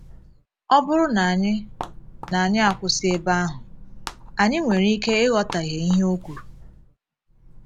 Ọ bụrụ na anyị na anyị akwụsị ebe ahụ, anyị nwere ike ịghọtahie ihe o kwuru.